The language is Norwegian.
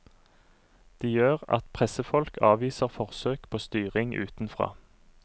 De gjør at pressefolk avviser forsøk på styring utenfra.